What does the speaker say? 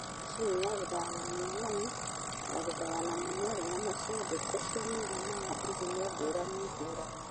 Macini ya gũthaya na mũnyore: Ya gũthayaga na mũnyore nyama cia ngũkũ cia mũigana wa ithimo ngũrani ngũrani.